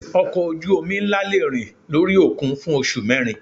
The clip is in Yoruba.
Ọkọ̀ ojú omi ńlá le rìn lórí òkun fún oṣù mẹ́rin.